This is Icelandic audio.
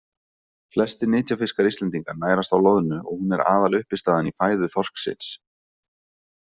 Flestir nytjafiskar Íslendinga nærast á loðnu og hún er aðaluppistaðan í fæðu þorsksins.